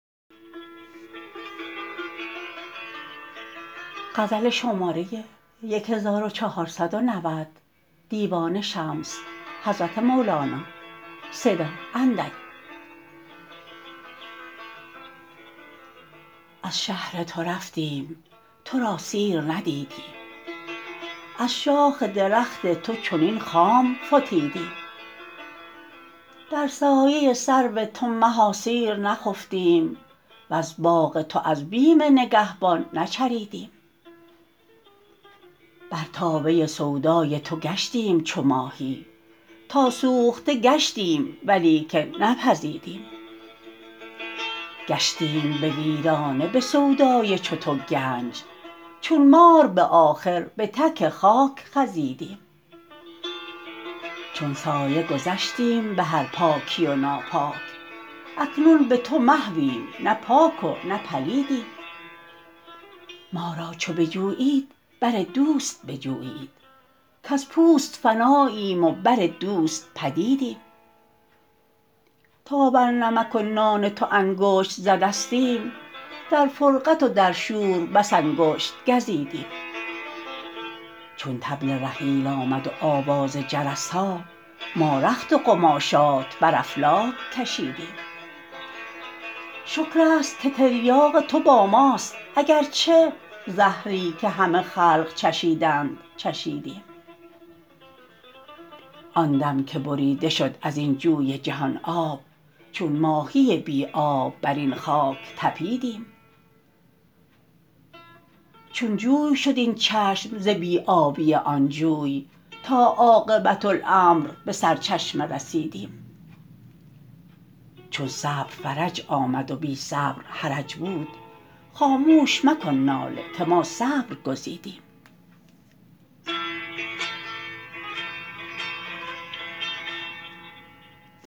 از شهر تو رفتیم تو را سیر ندیدیم از شاخ درخت تو چنین خام فتیدیم در سایه سرو تو مها سیر نخفتیم وز باغ تو از بیم نگهبان نچریدیم بر تابه سودای تو گشتیم چو ماهی تا سوخته گشتیم ولیکن نپزیدیم گشتیم به ویرانه به سودای چو تو گنج چون مار به آخر به تک خاک خزیدیم چون سایه گذشتیم به هر پاکی و ناپاک اکنون به تو محویم نه پاک و نه پلیدیم ما را چو بجویید بر دوست بجویید کز پوست فناییم و بر دوست پدیدیم تا بر نمک و نان تو انگشت زدستیم در فرقت و در شور بس انگشت گزیدیم چون طبل رحیل آمد و آواز جرس ها ما رخت و قماشات بر افلاک کشیدیم شکر است که تریاق تو با ماست اگر چه زهری که همه خلق چشیدند چشیدیم آن دم که بریده شد از این جوی جهان آب چون ماهی بی آب بر این خاک طپیدیم چون جوی شد این چشم ز بی آبی آن جوی تا عاقبت امر به سرچشمه رسیدیم چون صبر فرج آمد و بی صبر حرج بود خاموش مکن ناله که ما صبر گزیدیم